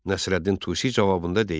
Nəsrəddin Tusi cavabında deyir: